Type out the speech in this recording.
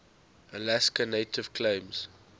alaska native claims